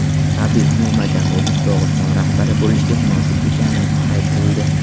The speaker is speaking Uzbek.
Habib Nurmagomedov Dog‘iston rahbari bo‘lishga munosib ekani aytildi.